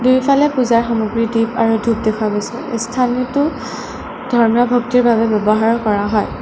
দুয়োফালে পূজাৰ সামগ্ৰী দীপ আৰু ধূপ দেখা গৈছে স্থানটো ধৰ্মীয় ভক্তিৰ বাবে ব্যৱহাৰ কৰা হয়।